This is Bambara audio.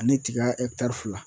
Ani tiga fila.